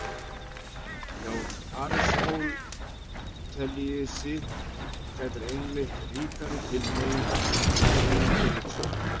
Hjá Aristótelesi gætir einmitt ríkrar tilhneigingar til greinandi hugsunar.